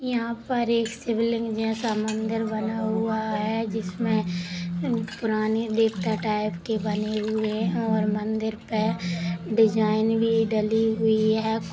यहाँ पर एक शिवलिंग जैसा मंदिर बना हुआ है जिसमे पुरानी देवता टाइप के बनी हुए और मंदिर पे डिजाइन भी डाली हुई है।